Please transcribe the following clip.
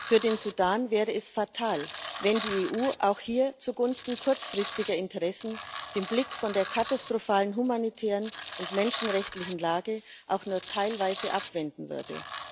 Für den Sudan wäre es fatal, wenn die EU auch hier zugunsten kurzfristiger Interessen den Blick von der katastrophalen humanitären und menschenrechtlichen Lage auch nur teilweise abwenden würde.